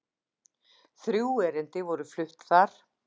Þrjú erindi voru flutt þar